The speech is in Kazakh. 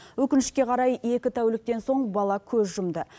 өкінішке қарай екі тәуліктен соң бала көз жұмды